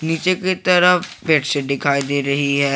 नीचे की तरफ बेड शीट दिखाई दे रही है।